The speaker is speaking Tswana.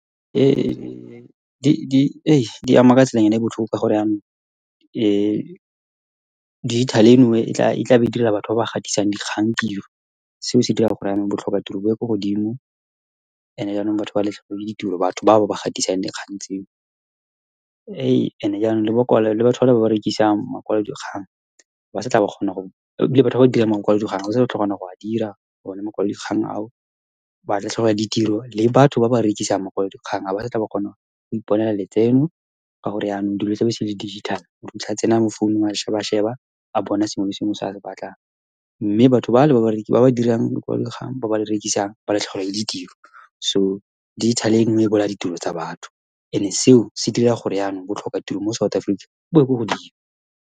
Um, di ama ka tselanyana e botlhoko, ka gore jaanong, , dijithale eno e tlabe e direla batho ba ba gatisang dikgang tiro. Seo se dira gore jaanong, botlhoka tiro bo ye ko godimo. And-e jaanong, batho ba latlhegelwe ke ditiro, batho bao ba gatisang dikgang tseo . And-e jaanong, le ba , le batho bale ba ba rekisang makwalodikgang , ha ba sa tlhole ba kgona go, ebile batho ba ba dirang makwalodikgang, ga ba sa tlhole ba kgona go a dira one makwalodikgang ao, ba latlhegelwa ke ditiro, le batho ba ba rekisang makwalodikgang, ha ba sa tlhole ba kgona go iponela letseno, ka gore yanong, dilo se le dijithale. Motho o fitlha a tsena mofounung, a sheba-sheba, a bona sengwe le sengwe se a se batlang. Mme batho ba le ba ba , ba ba dirang makwalodikgang, ba ba rekisang, ba latlhegelwa ke ditiro. So dijithale e , e bolaya ditiro tsa batho. And-e seo se dira gore jaanong, botlhoka tiro mo South Africa bo ye kwa godimo.